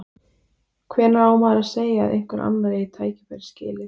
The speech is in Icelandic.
Hvenær á maður að segja að einhver annar eigi tækifærið skilið?